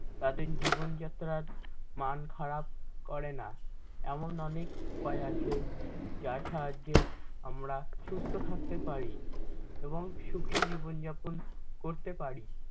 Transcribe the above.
তাদের জীবনযাত্রার মান খারাপ করে না এমন অনেক উপায় আছে যার সাহায্যে আমরা সুস্থ থাকতে পারি এবং সুখি জীবনযাপন করতে পারি ।